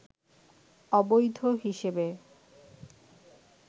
অবৈধ হিসেবে